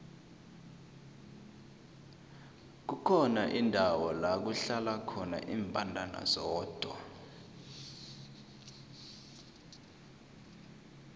kukhona indawo lakuhlala khona imbandana zodwa